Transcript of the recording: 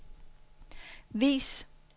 vis